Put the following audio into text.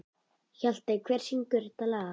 Hjaltey, hver syngur þetta lag?